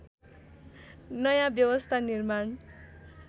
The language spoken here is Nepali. नयाँ व्यवस्था निर्माण